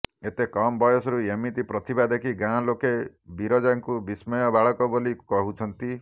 ଏତେ କମ୍ ବୟସରୁ ଏମିତି ପ୍ରତିଭା ଦେଖି ଗାଁ ଲୋକେ ବିରଜାଙ୍କୁ ବିସ୍ମୟ ବାଳକ ବୋଲି କହୁଛନ୍ତି